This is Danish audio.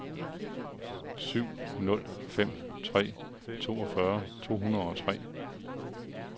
syv nul fem tre toogfyrre to hundrede og tre